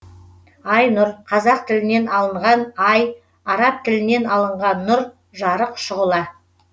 аи нұр қазақ тілінен алынған ай араб тілінен алынған нур жарық шұғыла